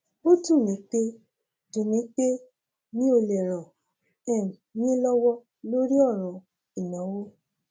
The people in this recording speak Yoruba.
ó dùn mí pé dùn mí pé mi ò lè ràn um yín lọwọ lórí ọràn ìnáwó